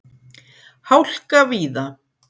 Hálka víða